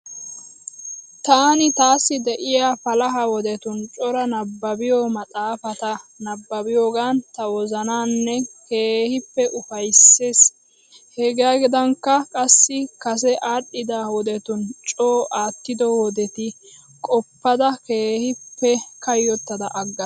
Taani taassi de'iya palaha wodetun cora nabbabbiyo maxxaafata nabbabbiyoogan ta wozanan keehippe ufayissayiis. Hegaadankka qassi kase aadhdhida wodetun coo aattido wodeta qoppada keehippe kayyottada aggaas.